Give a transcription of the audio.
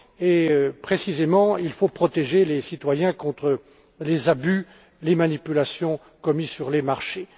époque. Il faut précisément protéger les citoyens contre les abus et les manipulations commis sur les marchés.